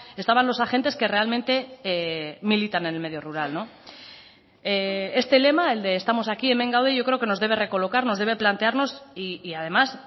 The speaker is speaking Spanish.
estaban los agentes que realmente militan en el medio rural este lema el que estamos aquíhemen gaude yo creo que nos debe recolocar nos debe plantearnos y además